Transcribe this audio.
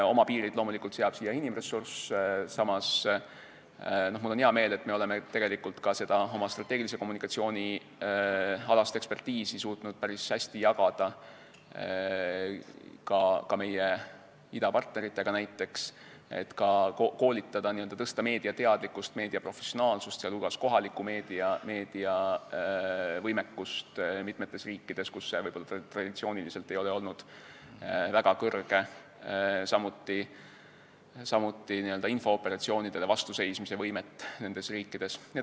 Oma piirid seab loomulikult inimressurss, samas on mul hea meel, et me oleme ka oma strateegilise kommunikatsiooni alast asjatundlikkust suutnud päris hästi jagada näiteks meie idapartneritega, et koolitada meediat ning suurendada tema teadlikkust ja professionaalsust, sh kohaliku meedia võimekust mitmetes riikides, kus see võib-olla traditsiooniliselt ei ole olnud väga suur, samuti oleme parandanud n-ö infooperatsioonidele vastuseismise võimet nendes riikides.